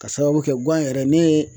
K'a sababu kɛ guwan yɛrɛ ne ye